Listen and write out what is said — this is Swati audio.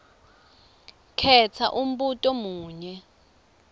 khetsa umbuto munye